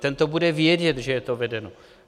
Ten to bude vědět, že to je vedeno.